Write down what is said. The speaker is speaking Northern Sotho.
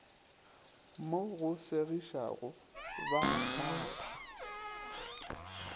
mo go segišago ba kgapha